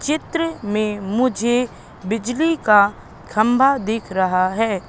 चित्र में मुझे बिजली का खंबा दिख रहा हैं।